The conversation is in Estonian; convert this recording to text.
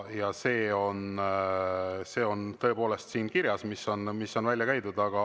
Ja see on tõepoolest siin kirjas, mis on välja käidud.